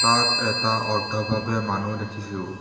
তাত এটা অৰ্ধভাৱে মানুহ দেখিছোঁ।